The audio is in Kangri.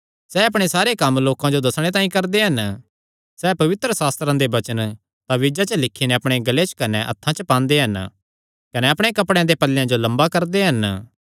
सैह़ अपणे सारे कम्म लोकां जो दस्सणे तांई करदे हन सैह़ पवित्रशास्त्रे दे वचन ताबीजां च लिखी नैं अपणे गल़े च कने हत्थां च पांदे हन कने अपणे कपड़ेयां दे पल्लेयां जो लम्बा करदे हन